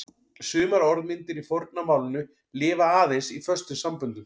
Sumar orðmyndir í forna málinu lifa aðeins í föstum samböndum.